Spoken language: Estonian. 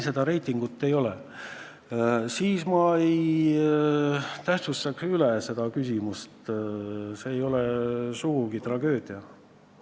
Ma ei tähtsustaks seda küsimust üle, see ei ole sugugi tragöödia.